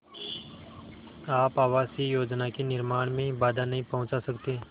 आप आवासीय योजना के निर्माण में बाधा नहीं पहुँचा सकते